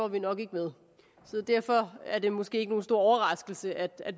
vi nok ikke med så derfor er det måske ikke nogen stor overraskelse at